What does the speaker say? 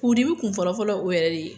furudimi kun fɔlɔ-fɔlɔ o yɛrɛ de